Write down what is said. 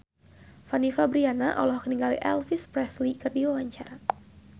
Fanny Fabriana olohok ningali Elvis Presley keur diwawancara